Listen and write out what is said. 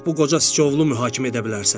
Bax bu qoca siçovulu mühakimə edə bilərsən.